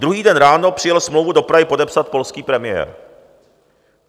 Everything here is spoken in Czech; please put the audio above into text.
Druhý den ráno přijel smlouvu do Prahy podepsat polský premiér.